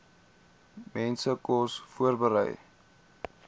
mense kos voorberei